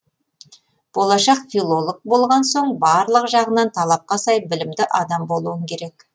болашақ филолог болған соң барлық жағынан талапқа сай білімді адам болуың керек